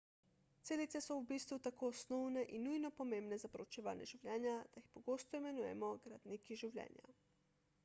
celice so v bistvu tako osnovne in nujno pomembne za proučevanje življenja da jih pogosto imenujemo gradniki življenja